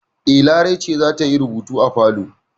E, Larai ce za ta yi rubutu a falo.